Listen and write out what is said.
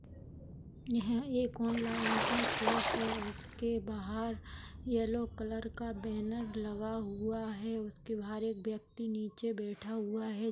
यह एक ओनलाइन की शॉप है उसके बाहर येलो कलर का बैनर लगा हुआ है उसके बाहर एक व्यक्ति नीचे बैठा हुआ है।